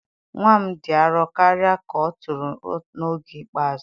nwa m dị arọ karịa ka ọ tụrụ n'oge ikpeazụ.